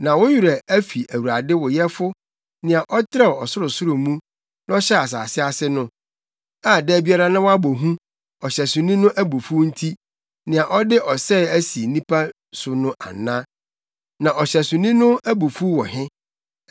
Na wo werɛ afi Awurade, wo yɛfo nea ɔtrɛw ɔsorosoro mu na ɔhyɛɛ asase ase no, a da biara na woabɔ hu ɔhyɛsoni no abufuw nti, nea ɔde ɔsɛe asi nʼani so no ana? Na ɔhyɛsoni no abufuw wɔ he?